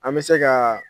An bɛ se ka